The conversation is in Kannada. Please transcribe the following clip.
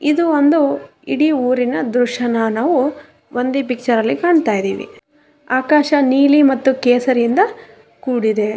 ಇದು ಒಂದು ಇಡೀ ಊರಿನ ದ್ರಶ್ಯನ ನಾವು ಒಂದೆ ಪಿಕ್ಚರ್ ನಲ್ಲಿ ಕಾಣ್ತಾ ಇದೀವಿ ಆಕಾಶ ನೀಲಿ ಮತ್ತು ಕೇಸ್ರಿಯಿಂದ ಕೂಡಿದೆ.